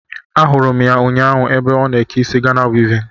Ahụrụ m ya ụnyaahụ ébé ọ na eke isi Gana wivin